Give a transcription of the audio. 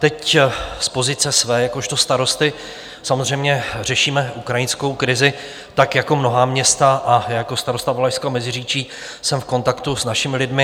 Teď z pozice své jakožto starosty samozřejmě řešíme ukrajinskou krizi, tak jako mnohá města, a jako starosta Valašského Meziříčí jsem v kontaktu s našimi lidmi.